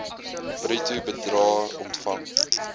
bruto bedrae ontvang